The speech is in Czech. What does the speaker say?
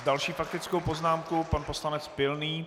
S další faktickou poznámkou pan poslanec Pilný.